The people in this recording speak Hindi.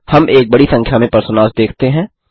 हम एक बड़ी संख्या में पर्सोनास देखते हैं